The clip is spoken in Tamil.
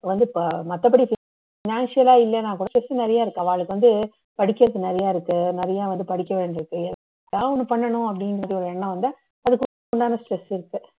வந்து மத்தபடி financial லா இல்லன்னா கூட சொத்து நிறைய இருக்கு அவாளுக்கு வந்து படிக்கிறதுக்கு நிறைய இருக்கு நிறைய வந்து படிக்க வேண்டி இருக்கு ஏதாவது ஒன்னு பண்ணனும் அப்படின்னு ஒரு எண்ணம் வந்தா அதுக்குண்டான step